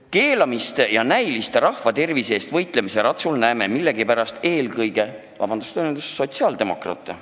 Keelamise ja näilise rahva tervise eest võitlemise ratsul näeme millegipärast eelkõige sotsiaaldemokraate.